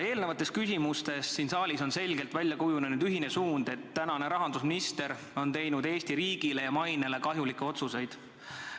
Eelnevates küsimustes on siin saalis selgelt välja kujunenud ühine suund, et tänane rahandusminister on teinud Eesti riigile ja selle mainele kahjulikke otsuseid.